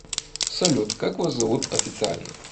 салют как вас зовут официально